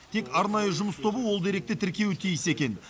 тек арнайы жұмыс тобы ол деректі тіркеуі тиіс екен